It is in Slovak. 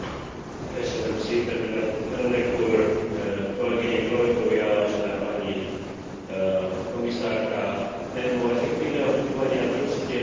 Téma efektívneho fungovania družstiev a účasti zamestnancov na ich riadení má veľký význam v kontexte oživovania európskeho hospodárstva.